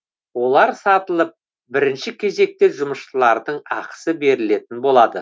олар сатылып бірінші кезекте жұмысшылардың ақысы берілетін болады